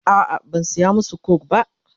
a'a ban saya masu coke ba.